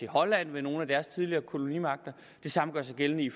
holland for nogle af deres tidligere kolonimagter det samme gør sig gældende i